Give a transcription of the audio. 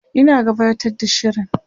Ina gabatar da shirin